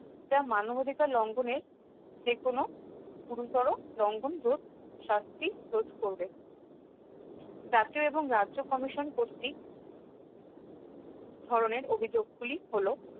যা মানবাধিকার লঙ্ঘনে যেকোনো গুরুতর লঙ্ঘন রোধ শাস্তি রোধ করবে জাতীয় এবং রাজ্য commission কর্তৃক ধরনের অভিযোগ গুলি হল